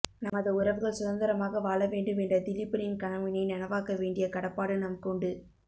நமது உறவுகள் சுதந்திரமாக வாழ வேண்டும் என்ற திலிபனின் கனவினை நனவாக்க வேண்டிய கடப்பாடு எமக்கு உண்டு